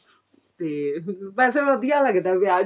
ਤੇ ਵੇਸੇ ਵਧੀਆ ਲੱਗਦਾ ਵਿਆਹ